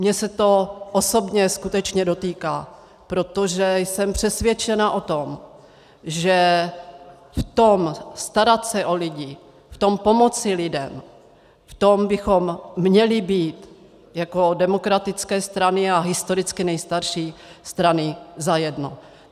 Mě se to osobně skutečně dotýká, protože jsem přesvědčená o tom, že v tom starat se o lidi, v tom pomoci lidem, v tom bychom měli být jako demokratické strany a historicky nejstarší strany zajedno.